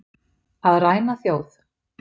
Að ræna þjóð